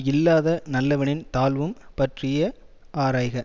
இல்லாத நல்லவனின் தாழ்வும் பற்றிய ஆராய்க